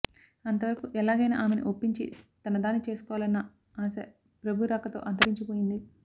అంతవరకు ఎలాగైనా ఆమెని ఒప్పించి తనదాన్ని చేసుకోవాలన్న ఆశ ప్రభు రాకతో అంతరించి పోయింది